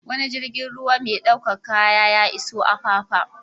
Wani jirgin ruwa mai ɗaukar kaya ya iso Apapa.